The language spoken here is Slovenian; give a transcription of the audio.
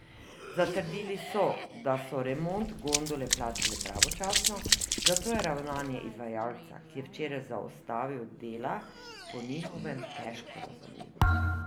Zatrdili so, da so remont gondole plačali pravočasno, zato je ravnanje izvajalca, ki je včeraj zaustavil dela, po njihovem težko razumljivo.